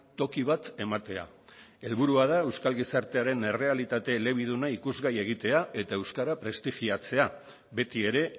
toki bat ematea helburua da euskal gizartearen errealitate elebiduna ikusgai egitea eta euskara prestigiatzea beti ere